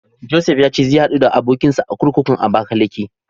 Josef ya ce zai haɗu da abokinsa a kurkukun Abakalake.